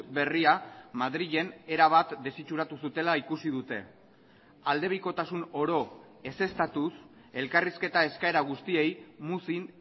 berria madrilen erabat desitxuratu zutela ikusi dute aldebikotasun oro ezeztatuz elkarrizketa eskaera guztiei muzin